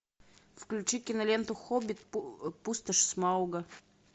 включи киноленту хоббит пустошь смауга